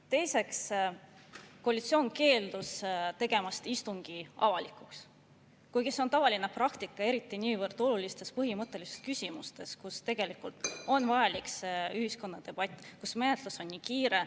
Teiseks, koalitsioon keeldus tegemast istungit avalikuks, kuigi see on tavaline praktika, eriti niivõrd olulistes ja põhimõttelistes küsimustes, kus tegelikult on vaja ühiskonna debatti, kus menetlus on nii kiire.